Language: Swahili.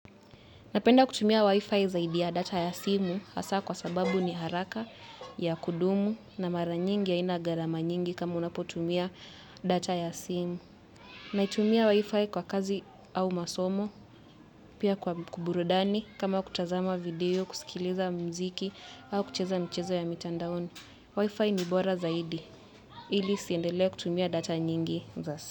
Napenda kutumia Wi-Fi zaidi ya data ya simu hasa kwa sababu ni haraka, ya kudumu na mara nyingi haina gharama nyingi kama unapotumia data ya simu. Naitumia Wi-Fi kwa kazi au masomo, pia kwa kuburudani kama kutazama video, kusikiliza muziki au kucheza mchezo ya mitandaoni. Wi-Fi ni bora zaidi. Ili usiendele kutumia data nyingi.